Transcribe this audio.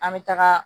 An bɛ taga